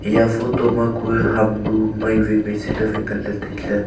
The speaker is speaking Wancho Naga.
eya photo ma kue ham bu mai wai mai se ley wai ngan ley tai ley.